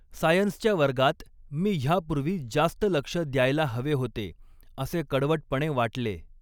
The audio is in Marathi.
सायन्सच्या वर्गात मी ह्यापूर्वी जास्त लक्ष द्यायला हवे होते, असे कडवटपणे वाटले.